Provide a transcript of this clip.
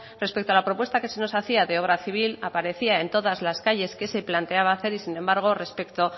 respecto a la propuesta que se nos hacía de obra civil aparecía en todas las calles que se planteaba hacer y sin embargo respecto